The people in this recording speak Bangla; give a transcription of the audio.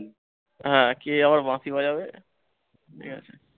হ্যাঁ, কে আবার বাঁশি বাজাবে ঠিকাছে।